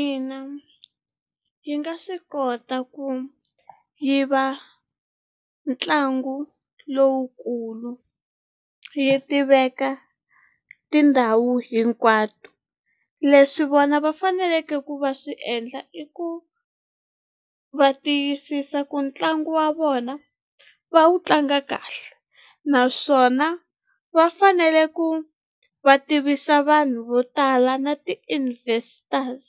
Ina yi nga swi kota ku yi va ntlangu lowukulu yi tiveka tindhawu hinkwato leswi vona va faneleke ku va swi endla i ku va tiyisisa ku ntlangu wa vona va wu tlanga kahle naswona va fanele ku va tivisa vanhu vo tala na ti-investors